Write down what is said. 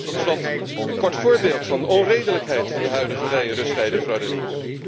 Tot slot een kort voorbeeld van de onredelijkheid van de huidige rij en rusttijdenverordening.